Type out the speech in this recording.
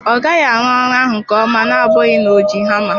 Ọ gaghị arụ ọrụ ahụ nke ọma na-abụghị na-oji hama.